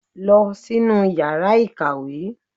Lọ sínú yàrá ìkàwé!